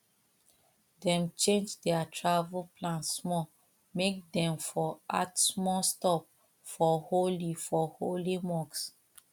dem change their travel plan small make dem for add small stop for holy for holy mosque